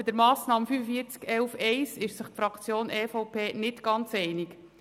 Bei der Massnahme 45.11.1 ist sich die EVP-Fraktion nicht ganz einig.